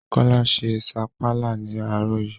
Kọ́lá se sapala ní àárọ̀ yii